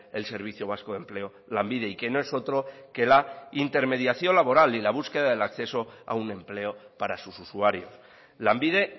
el servicio vasco de empleo lanbide y que no es otro que la intermediación laboral y la búsqueda del acceso a un empleo para sus usuarios lanbide